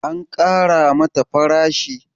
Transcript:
an Kara mata farashi?